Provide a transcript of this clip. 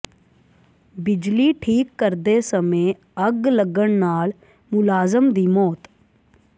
ਬਿਜਲੀ ਠੀਕ ਕਰਦੇ ਸਮੇਂ ਅੱਗ ਲੱਗਣ ਨਾਲ ਮੁਲਾਜ਼ਮ ਦੀ ਮੌਤ